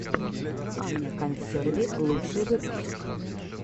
аня консерви лучший выпуск